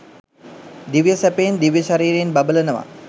දිව්‍ය සැපයෙන් දිව්‍ය ශරීරයෙන් බබලනවා